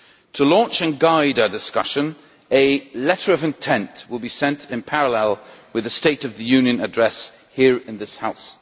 To launch and guide our discussion, a letter of intent' will be sent in parallel with the state of the union address here in this House.